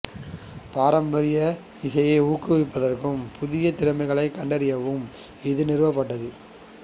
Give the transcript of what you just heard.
பாரம்பரிய இசையை ஊக்குவிப்பதற்கும் புதிய திறமைகளைக் கண்டறியவும் இது நிறுவப்பட்டது